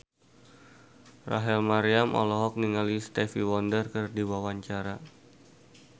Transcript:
Rachel Maryam olohok ningali Stevie Wonder keur diwawancara